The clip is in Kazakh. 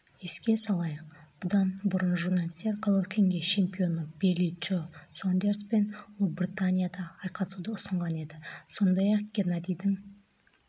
еске салайық бұдан бұрын журналистер головкинге чемпионы билли джо сондерспен ұлыбританияда айқасуды ұсынған еді сондай-ақ геннадийдің